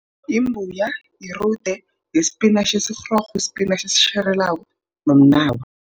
Yimbuya, yirude, yispinatjhi esirhorofu, yispinatjhi esitjhelelako nomnawa.